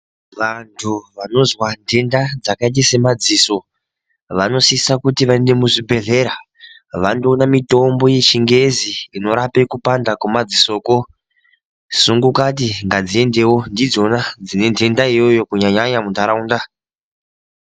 Vanhu vanozwa nhenda yakaita samadziso vanosise kuti vaende kuzvibhedhlera vandoona mitombo yechingezi inorape kupanda kwemadzisokwo. Sungukadzi ngadziende ngekuti ndidzona dzine nhenda iyoyo kunyanya nyanya munharaunda.